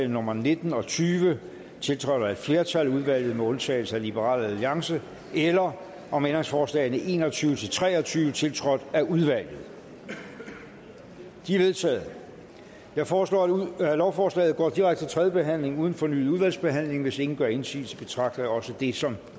nummer nitten og tyve tiltrådt af et flertal i udvalget med undtagelse af liberal alliance eller om ændringsforslagene en og tyve til tre og tyve tiltrådt af udvalget de er vedtaget jeg foreslår at lovforslaget går direkte til tredje behandling uden fornyet udvalgsbehandling hvis ingen gør indsigelse betragter jeg også det som